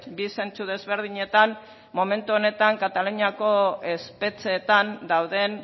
bi zentzu desberdinetan momentu honetan kataluniako espetxeetan dauden